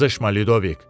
Qızışma Lidovik.